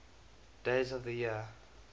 days of the year